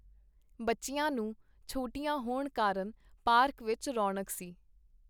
ਬੱਚਿਆਂ ਨੂੰ ਛੁੱਟੀਆਂ ਹੋਣ ਕਾਰਨ ਪਾਰਕ ਵਿੱਚ ਰੌਣਕ ਸੀ .